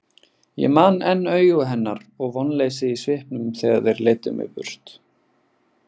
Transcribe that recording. Ég man enn augu hennar og vonleysið í svipnum þegar þeir leiddu mig burt.